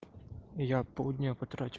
я полдня потратил